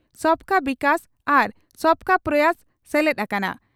ᱥᱚᱵᱠᱟ ᱵᱤᱠᱟᱥ' ᱟᱨ 'ᱥᱚᱵᱠᱟ ᱯᱨᱚᱭᱟᱥ' ᱥᱮᱞᱮᱫ ᱟᱠᱟᱱᱟ ᱾